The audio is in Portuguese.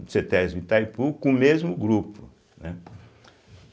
do cêtésbe Itaipu, com o mesmo grupo, né.